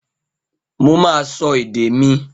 Mo máa sọ èdè mi